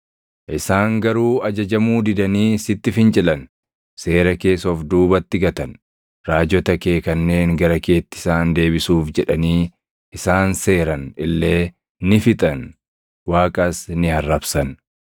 “Isaan garuu ajajamuu didanii sitti fincilan; seera kees of duubatti gatan. Raajota kee kanneen gara keetti isaan deebisuuf jedhanii isaan seeran illee ni fixan; Waaqas ni arrabsan.